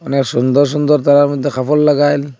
এর সুন্দর সুন্দর তারার মধ্যে খাফড় লাগায়েল--